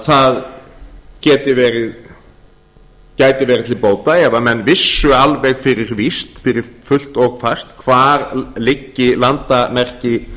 það gæti verið til bóta ef menn vissu alveg fyrir víst fyrir fullt og fast hvar liggi landamerki